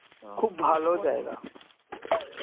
খুব ভালো জায়গা